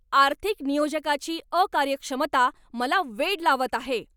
आर्थिक नियोजकाची अकार्यक्षमता मला वेड लावत आहे!